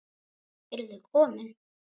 Eruð þið komin!